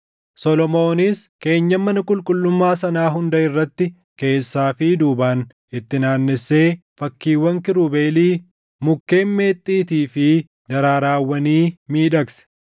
Solomoonis keenyan mana qulqullummaa sanaa hunda irratti, keessaa fi duubaan itti naannessee fakkiiwwan kiirubeelii, mukkeen meexxiitii fi daraarawwanii miidhagse.